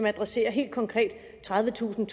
adresserer helt konkret tredivetusind